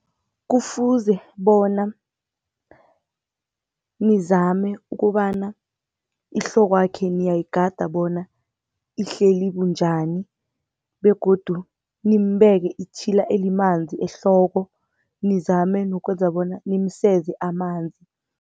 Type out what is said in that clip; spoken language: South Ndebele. Kufuze bona nizame ukobana ihlokwakhe niyayigada bona ihleli bunjani begodu nimbeke itjhila elimanzi ehloko, nizame nokwenza bona nimseze amanzi.